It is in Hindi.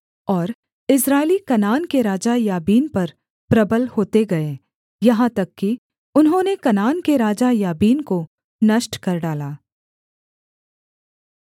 और इस्राएली कनान के राजा याबीन पर प्रबल होते गए यहाँ तक कि उन्होंने कनान के राजा याबीन को नष्ट कर डाला